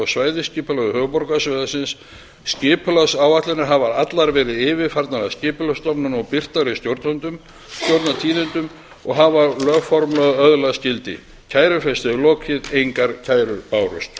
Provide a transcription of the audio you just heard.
og svæðaskipulagi höfuðborgarsvæðisins skipulagsáætlanirnar hafa allar verið yfirfarnar af skipulagsstofnun og birtar í stjórnartíðindum og hafa lögformlega öðlast gildi kærufresti er lokið engar kærur bárust